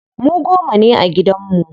Mu goma ne a gidan mu.